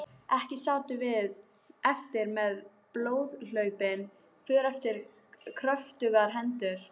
Ekki sátum við eftir með blóðhlaupin för eftir kröftugar hendur.